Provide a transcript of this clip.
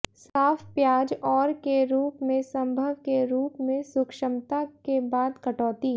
साफ प्याज और के रूप में संभव के रूप में सूक्ष्मता के बाद कटौती